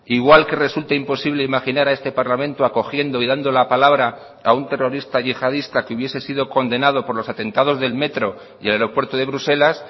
igual que resulta imposible imaginar a este parlamento acogiendo y dando la palabra a un terrorista yihadista que hubiese sido condenado por los atentados del metro y el aeropuerto de bruselas